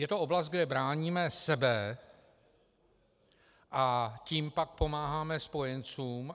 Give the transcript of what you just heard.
Je to oblast, kde bráníme sebe, a tím pak pomáháme spojencům.